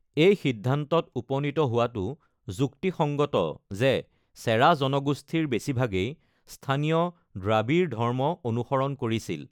এই সিদ্ধান্তত উপনীত হোৱাটো যুক্তিসঙ্গত যে চেৰা জনগোষ্ঠীৰ বেছিভাগেই স্থানীয় দ্ৰাবিড় ধৰ্ম অনুসৰণ কৰিছিল।